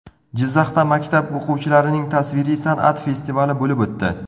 Jizzaxda maktab o‘quvchilarining tasviriy san’at festivali bo‘lib o‘tdi.